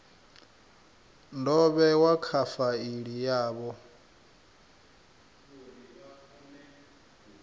do vhewa kha faili yavho